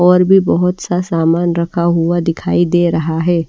और भी बहुत सा सामान रखा हुआ दिखाई दे रहा है।